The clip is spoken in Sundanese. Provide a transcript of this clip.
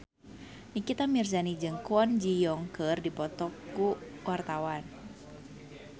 Nikita Mirzani jeung Kwon Ji Yong keur dipoto ku wartawan